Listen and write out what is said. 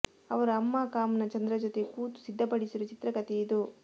ಅವರ ಅಮ್ಮ ಕಾಮ್ನಾ ಚಂದ್ರ ಜೊತೆ ಕೂತು ಸಿದ್ಧಪಡಿಸಿರುವ ಚಿತ್ರಕಥೆ ಇದು